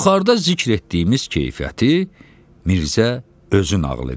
Yuxarıda zikr etdiyimiz keyfiyyəti Mirzə özü nağıl edirdi.